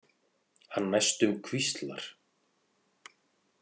Hann næstum hvíslar.